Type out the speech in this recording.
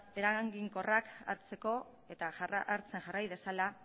eraginkorrak hartzeko eta hartzen jarrai dezala